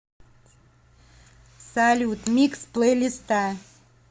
салют микс плейлиста